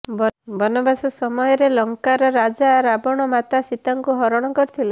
ବନବାସ ସମୟରେ ଲଙ୍କାର ରାଜା ରାବଣ ମାତା ସୀତାଙ୍କ ହରଣ କରିଥିଲେ